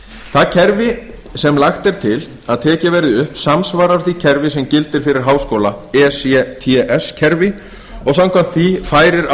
það kerfi sem lagt er til að tekið verði upp samsvarar því kerfi sem gildir fyrir háskóla ects kerfi og samkvæmt því færir